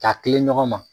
K'a tilen ɲɔgɔn ma